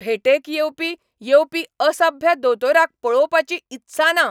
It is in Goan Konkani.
भेटेक येवपी येवपी असभ्य दोतोराक पळोवपाची इत्सा ना.